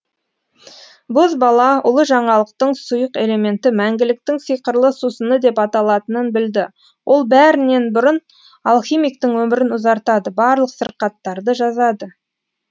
бозбала ұлы жаңалықтың сұйық элементі мәңгіліктің сиқырлы сусыны деп аталатынын білді ол бәрінен бұрын алхимиктің өмірін ұзартады барлық сырқаттарды жазады